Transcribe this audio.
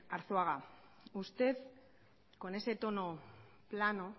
arzuaga usted con ese tono plano